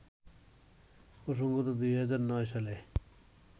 প্রসঙ্গত, ২০০৯ সালে